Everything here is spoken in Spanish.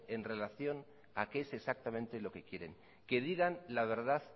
en relación a qué es exactamente lo que quieren que digan la verdad